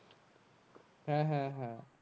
হ্যাঁ হ্যাঁ হ্যাঁ